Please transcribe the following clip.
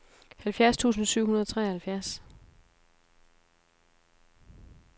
halvfjerds tusind syv hundrede og treoghalvfjerds